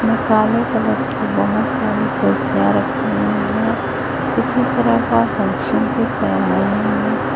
इधर काले कलर की बहोत सारी कुर्सियां रखी हुई है किसी तरह का फंक्शन दिख रहा है।